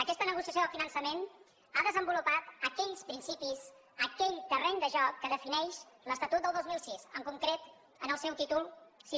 aquesta negociació del finançament ha desenvolupat aquells principis aquell terreny de joc que defineix l’estatut del dos mil sis en concret en el seu títol vi